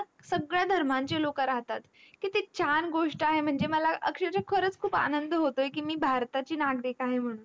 धर्मांचे लोक आहेत मला अक्षरशा खरच खूप आनंद होतोय की मी भारताची नागरिक आहे म्हणून